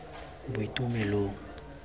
boitumelong